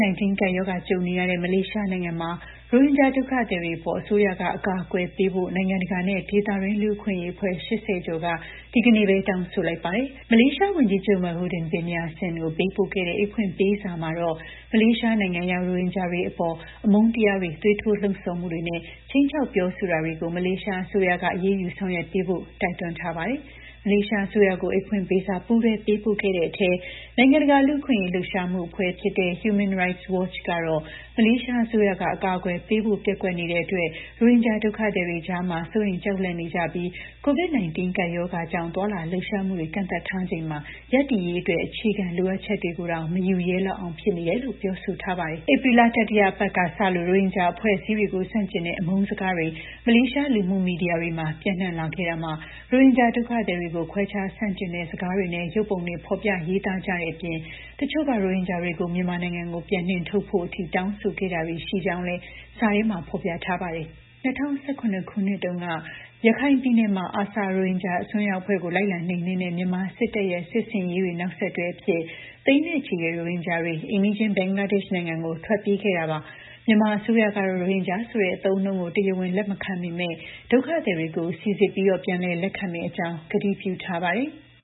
-19 ကပ်ရောဂါ ကြုံနေရတဲ့ မလေးရှားနိုင်ငံမှာ ရိုဟင်ဂျာဒုက္ခသည်တွေအပေါ် အစိုးရက အကာအကွယ်ပေးဖို့ နိုင်ငံတကာနဲ့ ဒေသတွင်း လူ့အခွင့်အရေးအဖွဲ့ ၈၀ ကျော်က ဒီကနေ့ပဲ တောင်းဆိုလိုက်ကြပါတယ်။ မလေးရှား ဝန်ကြီးချုပ် Muhyiddin bin Yassin ကို ပေးပို့ခဲ့တဲ့ အိတ်ဖွင့်ပေးစာမှာတော့ မလေးရှားနိုင်ငံရောက် ရိုဟင်ဂျာတွေအပေါ် အမုန်းတရားတွေ၊ သွေးထိုးလှုံ့ဆော်မှုတွေနဲ့ ခြိမ်းခြောက်ပြောဆိုတာတွေကို မလေးရှားအစိုးရက အရေးယူ ဆောင်ရွက်ပေးဖို့လည်း တိုက်တွန်းထားပါတယ်။ မလေးရှားအစိုးရကို အိတ်ဖွင့်ပေးစာပူးတွဲပေးပို့ခဲ့တဲ့ အထဲက နိုင်ငံတကာ လူ့အခွင့်အရေး လှုပ်ရှားမှုအဖွဲ့ဖြစ်တဲ့ Human Rights Watch ကတော့ မလေးရှား အစိုးရက အကာအကွယ်ပေးဖို့ ပျက်ကွက်နေတဲ့အတွက်၊ ရိုဟင်ဂျာဒုက္ခသည်တွေကြား စိုးရိမ်ကြောက်လန့်နေကြပြီး COVID-19 ကပ်ရောဂါကြောင့် သွားလာလှုပ်ရှားမှုတွေ ကန့်သတ်ထားချိန်မှာ ရပ်တည်ရေးအတွက် အခြေခံ လိုအပ်ချက်တွေကိုတောင် မယူရဲလောက်အောင် ဖြစ်နေတယ်လို့ ပြောဆိုထားတာပါ။ ဧပြီလ တတိယပတ်ကစလို့ ရိုဟင်ဂျာ အဖွဲ့အစည်းတွေကို ဆန့်ကျင်တဲ့ အမုန်းစကားတွေ မလေးရှား လူမှုမီဒီယာတွေမှာ ပျံ့နှံ့လာခဲ့ရာမှာ ရိုဟင်ဂျာ ဒုက္ခသည်တွေကို ခွဲခြားဆန့်ကျင်တဲ့စကားတွေနဲ့ ရုပ်ပုံတွေ ဖော်ပြရေးသားကြတဲ့အပြင် တချို့က ရိုဟင်ဂျာတွေကို မြန်မာနိုင်ငံကို ပြန်နှင်ထုတ်ဖို့အထိ တောင်းဆိုတာတွေ ရှိခဲ့ကြောင်းလည်း စာထဲမှာ ဖော်ပြထားပါတယ်။ ၂၀၁၇ ထဲတုန်းက ရခိုင်ပြည်နယ်မှာ ARSA ရိုဟင်ဂျာ အစွန်းရောက်အဖွဲ့ကို လိုက်လံနှိမ်နင်းတဲ့ မြန်မာစစ်တပ်ရဲ့ စစ်ဆင်ရေးတွေ နောက်ဆက်တွဲအဖြစ် သိန်းနဲ့ချီတဲ့ ရိုဟင်ဂျာတွေ အိမ်နီးချင်း ဘင်္ဂလားဒေ့ရှ်နိုင်ငံကို ထွက်ပြေးခဲ့ကြတာပါ။ မြန်မာအစိုးရကတော့ ရိုဟင်ဂျာဆိုတဲ့ အသုံးအနှုန်းကို တရားဝင်လက်မခံပေမဲ့ ဒုက္ခသည်တွေကို စိစစ်ပြီး ပြန်လည်လက်ခံမယ့်အကြောင်း ကတိပြုထားပါတယ်။